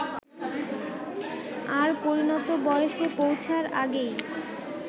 আর পরিণত বয়সে পৌছার আগেই